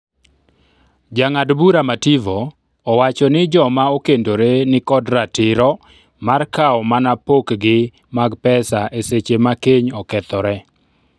Jang'ad bura Mativo owacho ni joma okendore nikod ratiro mar kawo mana pok gi mag pesa eseche ma keny okethore